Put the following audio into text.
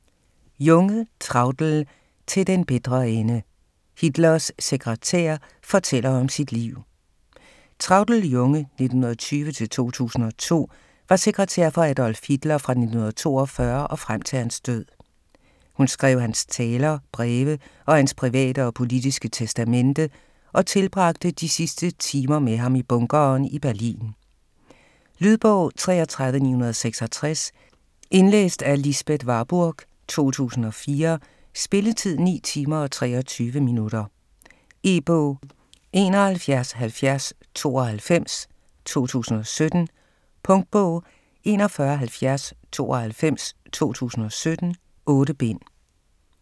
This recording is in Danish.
Junge, Traudl: Til den bitre ende: Hitlers sekretær fortæller om sit liv Traudl Junge (1920-2002) var sekretær for Adolf Hitler fra 1942 frem til hans død. Hun skrev hans taler, breve og hans private og politiske testamente og tilbragte de sidste timer med ham i bunkeren i Berlin. Lydbog 33966 Indlæst af Lisbeth Warburg, 2004. Spilletid: 9 timer, 23 minutter. E-bog 717092 2017. Punktbog 417092 2017. 8 bind.